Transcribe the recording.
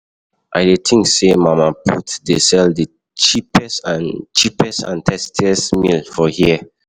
I dey think say Mama put dey sell di cheapest and cheapest and tastiest meal for here.